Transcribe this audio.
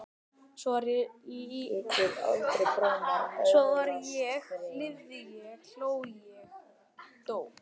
Svo var ég lifði ég hló ég dó